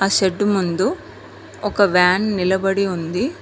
Shed ముందు ఒక van నిలబడి ఉంది.